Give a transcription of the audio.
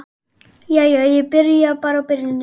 Jæja, ég byrja bara á byrjuninni.